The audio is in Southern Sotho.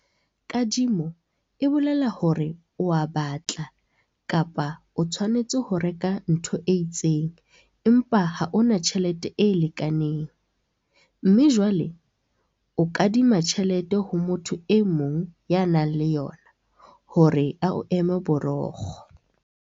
Kadimo e bolela hore o a batla kapa o tshwanetse ho reka ntho e itseng empa ha o na tjhelete e lekaneng, mme jwale o kadima tjhelete ho motho e mong ya nang le yona hore a o eme borokgo.